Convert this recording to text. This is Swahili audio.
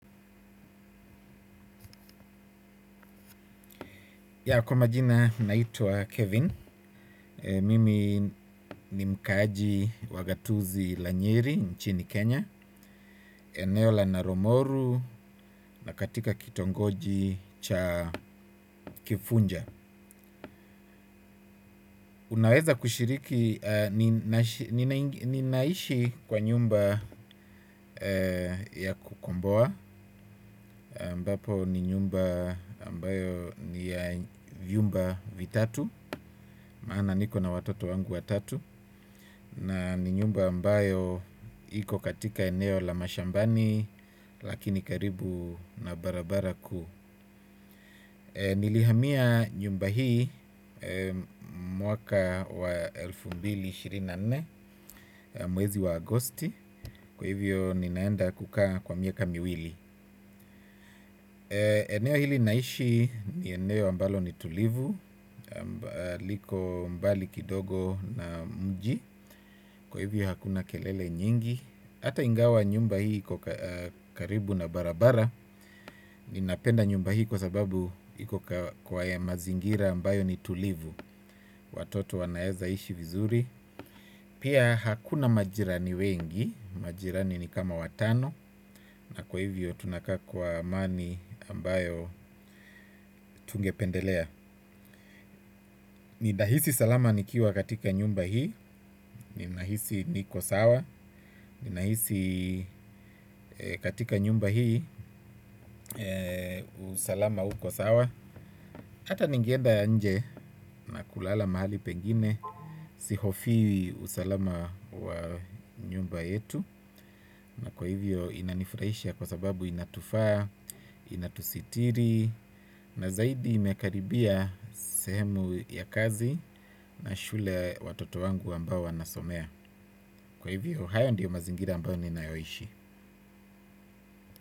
Ya kwa majina naitwa Kevin, mimi ni mkaaji wa gatuzi la nyeri nchini Kenya, eneo la naro moru na katika kitongoji cha kibunja. Unaweza kushiriki, ninaishi kwa nyumba ya kukomboa ambapo ni nyumba ambayo ni ya vyumba vitatu. Maana niko na watoto wangu watatu. Na ni nyumba ambayo iko katika eneo la mashambani. Lakini karibu na barabara kuu. Nilihamia nyumba hii mwaka wa elfu mbili ishirini na nne. Mwezi wa agosti kwa hivyo ninaenda kukaa kwa miaka miwili. Eneo hili naishi ni eneo ambalo ni tulivu. Liko mbali kidogo na mji. Kwa hivyo hakuna kelele nyingi. Ata ingawa nyumba hii iko karibu na barabara ninapenda nyumba hii kwa sababu iko kwa ya mazingira ambayo ni tulivu. Watoto wanaeza ishi vizuri. Pia hakuna majirani wengi. Majirani ni kama watano. Na kwa hivyo tunakaa kwa amani ambayo tungependelea. Ninahisi salama nikiwa katika nyumba hii. Ninahisi niko sawa. Ninahisi katika nyumba hii. Usalama uko sawa. Hata ningeenda nje na kulala mahali pengine. Sihofii usalama wa nyumba yetu. Na kwa hivyo inanifurahisha kwa sababu inatufaa inatusitiri na zaidi imekaribia sehemu ya kazi na shule watoto wangu ambao wanasomea kwa hivyo, haya ndiyo mazingira ambayo ninayoishi.